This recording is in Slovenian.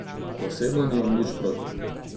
Osebno nimam nič proti.